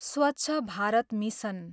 Swachh Bharat mission